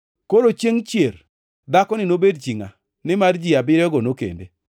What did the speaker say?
Koro, chiengʼ chier dhakoni nobed chi ngʼa, nimar ji abiriyogo nokende?”